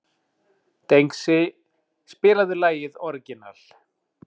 Dengsi, spilaðu lagið „Orginal“.